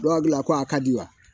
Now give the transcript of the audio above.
Ba gilan ko a ka di wa